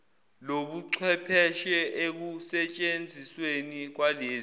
lobuchwepheshe ekusentshenzisweni kwalezi